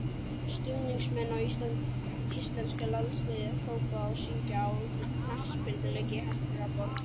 Stuðningsmenn íslenska landsliðsins hrópa og syngja á knattspyrnuleik í Hamborg.